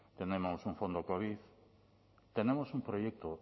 tenemos un fondo covid tenemos un proyecto